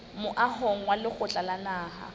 moahong wa lekgotla la naha